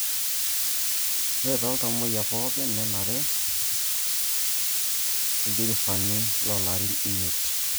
Ore tooltamuoyia pooki nera ildirifani loolorin imiet